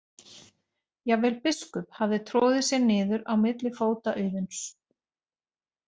Jafnvel Biskup hafði troðið sér niður á milli fóta Auðuns.